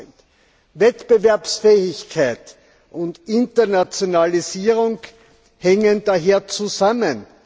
8 Wettbewerbsfähigkeit und Internationalisierung hängen daher zusammen.